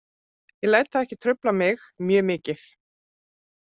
Ég læt það ekki trufla mig mjög mikið.